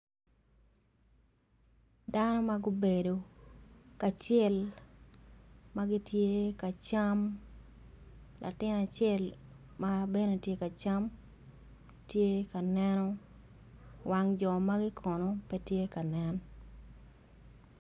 Dano ma gubedo kacel gitye ka cam latin acel ma tye ka cam tye ka neno wang jo magi kono pe tye kanen